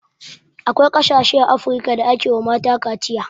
Akwai ƙasashe a afrika da ake wa mata kaciya